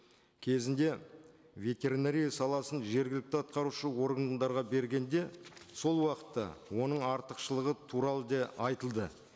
кезінде ветеринария саласын жергілікті атқарушы органдарға бергенде сол уақытта оның артықшылығы туралы да айтылды